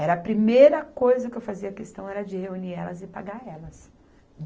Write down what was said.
Era a primeira coisa que eu fazia a questão era de reunir elas e pagar elas.